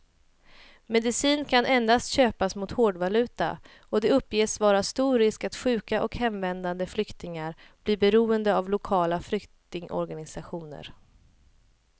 Medicin kan endast köpas mot hårdvaluta och det uppges vara stor risk att sjuka och hemvändande flyktingar blir beroende av lokala flyktingorganisationer.